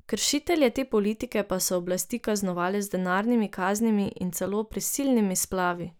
Kršitelje te politike pa so oblasti kaznovale z denarnimi kaznimi in celo prisilnimi splavi.